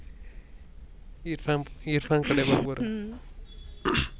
इरफान कडे बघ बर